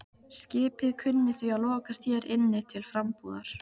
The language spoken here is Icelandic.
Skipið kunni því að lokast hér inni til frambúðar.